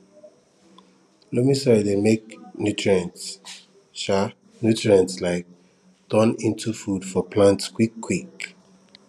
loamy soil dey make nutrients um nutrients um turn into food for plants quick quick